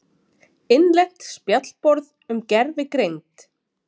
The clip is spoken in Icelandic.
Innlent spjallborð um gervigreind.